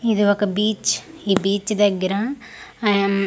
ఇది ఒక బీచ్ ఈ బీచ్ దగ్గర అం--